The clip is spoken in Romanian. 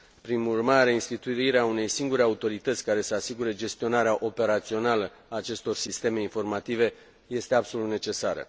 Prin urmare, instituirea unei singure autorități care să asigure gestionarea operațională a acestor sisteme informative este absolut necesară.